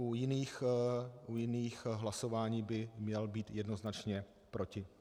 U jiných hlasování by měl být jednoznačně proti.